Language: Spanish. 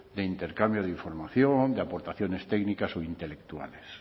de intercambio de información de aportaciones técnicas o intelectuales